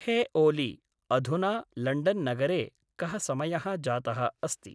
हे ओलि अधुना लण्ड्न्नगरे कः समयः जातः अस्ति?